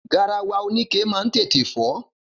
Garawa oníke ma ń tètè fó.